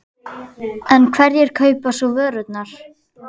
En hverjir kaupa svo vörurnar?